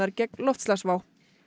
gegn loftslagsvá